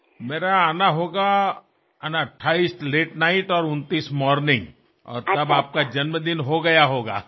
আমি ফিরব ২৮ তারিখ অনেক রাতে আর ২৯এর সকাল হলেও তো আপনার জন্মদিন পার হয়ে যাবে